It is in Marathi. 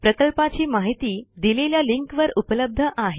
प्रकल्पाची माहिती दिलेल्या लिंकवर उपलब्ध आहे